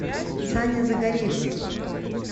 саня загорельский